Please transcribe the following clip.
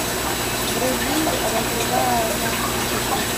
вруби разрывая замкнутый круг